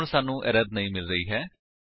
ਹੁਣ ਸਾਨੂੰ ਐਰਰ ਨਹੀਂ ਮਿਲ ਰਹੀ ਹੈ